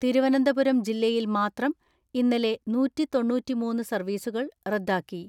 തിരുവനന്തപുരം ജില്ലയിൽ മാത്രം ഇന്നലെ നൂറ്റിതൊണ്ണൂറ്റിമൂന്ന് സർവ്വീസുകൾ റദ്ദാക്കി.